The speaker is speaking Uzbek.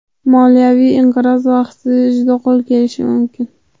Moliyaviy inqiroz vaqtida juda qo‘l kelishi mumkin”.